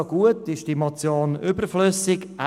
Deshalb lehnt er diese Motion ab.